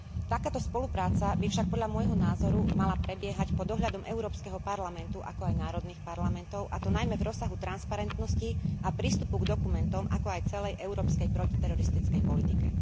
Takáto spolupráca by však podľa môjho názoru mala prebiehať pod dohľadom Európskeho parlamentu, ako aj národných parlamentov, a to najmä v rozsahu transparentnosti a prístupu k dokumentom, ako aj celej Európskej protiteroristickej politike.